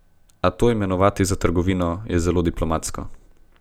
A to imenovati za trgovino, je zelo diplomatsko.